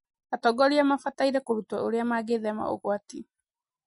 Atongoria mabataire kũrutwo ũria magĩthema ũgwati.